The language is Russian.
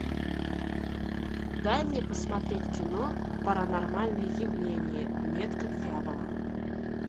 дай мне посмотреть кино паранормальные явления метка дьявола